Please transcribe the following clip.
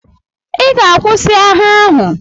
I ga-akwụsị agha ahụ!